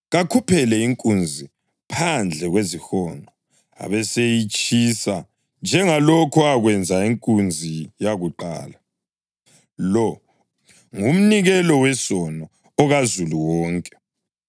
Kakhuphele inkunzi phandle kwezihonqo, abeseyitshisa njengalokho akwenza inkunzi yakuqala. Lo ngumnikelo wesono okazulu wonke.